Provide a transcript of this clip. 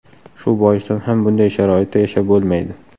Shu boisdan ham bunday sharoitda yashab bo‘lmaydi.